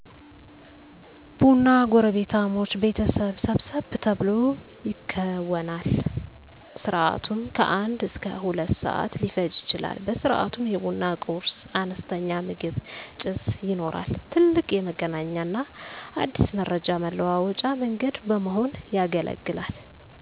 ቡና ጎረቤታሞች ቤተሰብ ሰብሰብ ተብሎ ይከወናል። ስርዓቱም ከአንድ እስከ ሁለት ሰዓት ሊፈጅ ይችላል። በስርዓቱም የቡና ቁርስ(አነስተኛ ምግብ) ፣ ጭስ ይኖራል። ትልቅ የመገናኛና አዲስ መረጃ መለዋወጫ መንገድ በመሆን ያገለግላል።